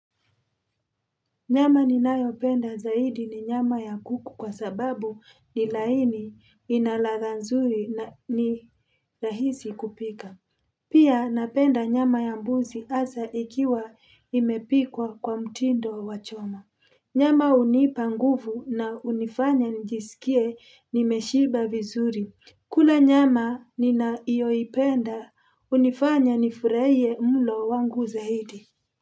Nyama ninayopenda zaidi ni nyama ya kuku kwa sababu ni laini ina ladha nzuri ni rahisi kupika. Pia napenda nyama ya mbuzi asa ikiwa imepikwa kwa mtindo wa choma. Nyama unipa nguvu na unifanya njisikie nimeshiba vizuri. Kula nyama ninaiyoipenda unifanya nifuraiye mlo wangu zaidi.